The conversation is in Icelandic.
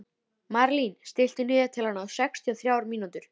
Marlín, stilltu niðurteljara á sextíu og þrjár mínútur.